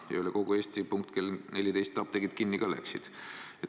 Ja üle kogu Eesti punkt kell 14 apteegid kinni ka läksid.